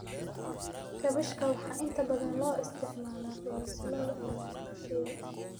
Kaabashka waxaa inta badan loo isticmaalaa coleslaw iyo walaaq-shiil.